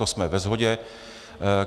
To jsme ve shodě.